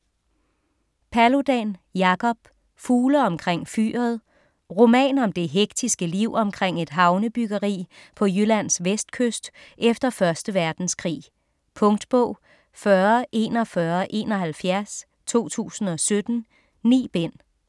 Paludan, Jacob: Fugle omkring Fyret Roman om det hektiske liv omkring et havnebyggeri på Jyllands vestkyst efter 1. verdenskrig. Punktbog 404171 2017. 9 bind.